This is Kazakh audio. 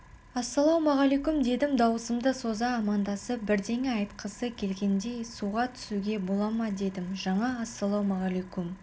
ассалаумағалейкүм дедім дауысымды соза амандасып бірдеңе айтқысы келгендей суға түсуге бола ма дедім жаңа сіз ассалаумағалейкүм